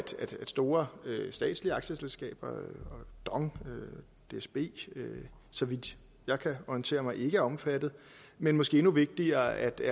store statslige aktieselskaber dong dsb så vidt jeg kan orientere mig ikke er omfattet men måske endnu vigtigere er det